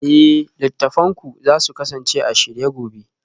Eh littattafanku za su kasance a shirye gobe